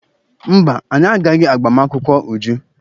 Mba, anyị agaghị agba m akwụkwọ Uju.